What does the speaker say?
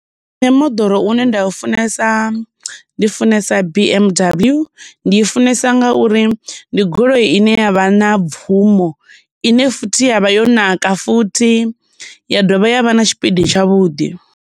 Nṋe moḓoro u ne nda u funesa ndi funesa B_M_W, ndi i funesa ngauri ndi goloi i ne ya vha na bvumo, ine futhi ya vha yo naka futhi, ya dovha ya vha na tshipidi tshavhuḓi.